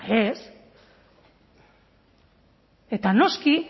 ez eta noski